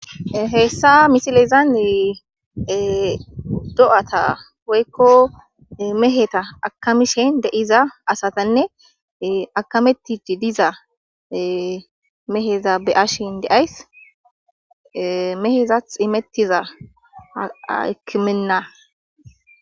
heessa misilezane do'ata woykko meheta akamishin de'iza asatanne akametti diza meheza be'ashin de'ays mehezath imettiza akimenna